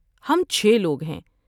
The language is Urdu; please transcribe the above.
ہم چھ لوگ ہیں۔